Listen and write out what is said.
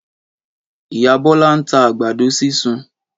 Ìyá Bọ́lá ń ta àgbàdo sísun.